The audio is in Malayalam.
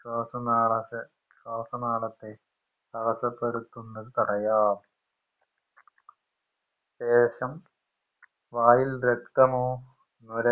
ശ്വാസനാളത്തെ ശ്വാസനാളത്തെ തടസ്സപ്പെടുത്തുന്നത് തടയാൻ ശേഷം വായിൽ രക്തമോ നുര